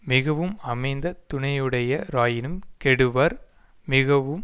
மிகவும் அமைந்த துணையுடைய ராயினும் கெடுவர் மிகவும்